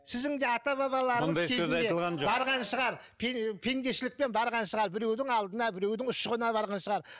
сіздің де ата бабаларыңыз кезінде барған шығар пендешілікпен барған шығар біреудің алдына біреудің ұшығына барған шығар